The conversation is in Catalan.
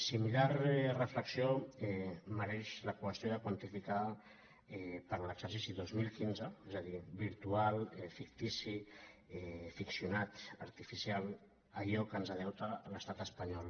similar reflexió mereix la qüestió de quantificar per a l’exercici dos mil quinze és a dir virtual fictici ficcionat arti·ficial allò que ens deu l’estat espanyol